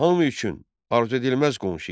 Hami üçün arzu edilməz qonşu idi.